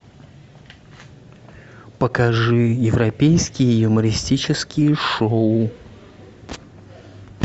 покажи европейские юмористические шоу